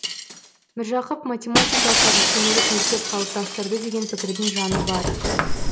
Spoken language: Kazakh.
міржақып математикалық әдістемелік мектеп қалыптастырды деген пікірдің жаны бар